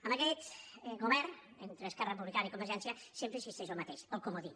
amb aquest govern entre esquerra republicana i convergència sempre existeix el mateix el comodí